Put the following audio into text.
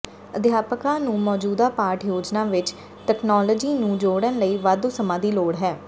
ਅਧਿਆਪਕਾਂ ਨੂੰ ਮੌਜੂਦਾ ਪਾਠ ਯੋਜਨਾ ਵਿੱਚ ਤਕਨਾਲੋਜੀ ਨੂੰ ਜੋੜਨ ਲਈ ਵਾਧੂ ਸਮਾਂ ਦੀ ਲੋੜ ਹੈ